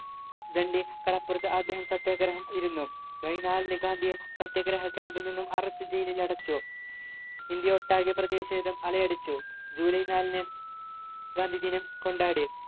ദണ്ഡി കടപ്പുറത്ത് അദ്ദേഹം സത്യാഗ്രഹം ഇരുന്നു ഗാന്ധിയെ സത്യാഗ്രഹ camp ൽ നിന്നും arrest ചെയ്ത് ജയിലിലടച്ചു ഇന്ത്യയൊട്ടാകെ പ്രധിഷേധം അലയടിച്ചു ജൂലൈ നാലിന് ഗാന്ധി ദിനം കൊണ്ടാടി